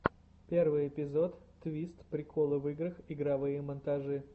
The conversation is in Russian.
первый эпизод твист приколы в играх игровые монтажи